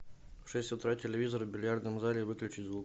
в шесть утра телевизор в бильярдном зале выключи звук